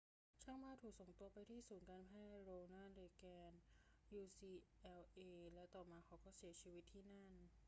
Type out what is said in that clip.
ช่างภาพถูกส่งตัวไปที่ศูนย์การแพทย์โรนัลด์ เรแกน ucla และต่อมาเขาก็เสียชีวิตที่นั่น